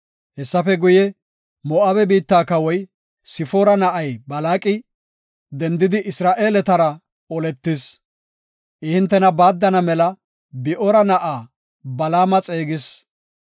Hessafe guye, Moo7abe biitta kawoy, Sifoora na7ay Balaaqi, dendidi, Isra7eeletara oletis. I hintena baaddana mela Bi7oora na7aa, Balaama xeegis.